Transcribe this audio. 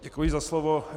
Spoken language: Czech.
Děkuji za slovo.